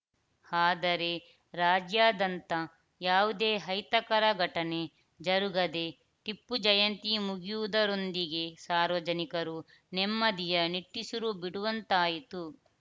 ಆದರೆ ರಾಜ್ಯಾದಂತ ಯಾವುದೇ ಅಹಿತಕರ ಘಟನೆ ಜರುಗದೆ ಟಿಪ್ಪು ಜಯಂತಿ ಮುಗಿಯುವುದರೊಂದಿಗೆ ಸಾರ್ವಜನಿಕರು ನೆಮ್ಮದಿಯ ನಿಟ್ಟುಸಿರುಬಿಡುವಂತಾಯಿತು